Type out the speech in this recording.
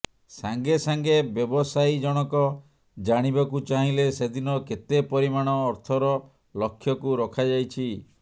ସାଙ୍ଗେ ସାଙ୍ଗେ ବ୍ୟବସାୟୀ ଜଣକ ଜାଣିବାକୁ ଚାହିଁଲେ ସେଦିନ କେତେ ପରିମାଣ ଅର୍ଥର ଲକ୍ଷ୍ୟକୁ ରଖାଯାଇଛି